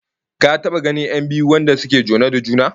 Ka taba ganin 'yan biyu wanda suke jone da juna?